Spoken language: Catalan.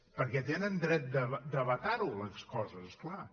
perquè tenen dret de vetar les coses clar